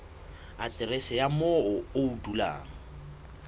aterese ya moo o dulang